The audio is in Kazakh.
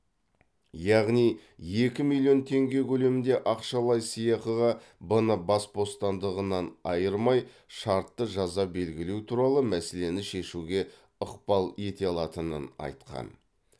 яғни екі миллион теңге көлемінде ақшалай сыйақыға б ны бас бостандығынан айырмай шартты жаза белгілеу туралы мәселені шешуге ықпал ете алатынын айтқан